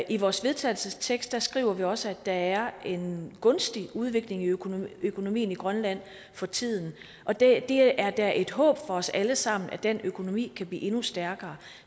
i vores vedtagelsestekst skriver vi også at der er en gunstig udvikling i økonomien økonomien i grønland for tiden og det er da et håb for os alle sammen at den økonomi kan blive endnu stærkere